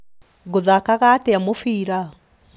Ngũthakaga atĩa mubira?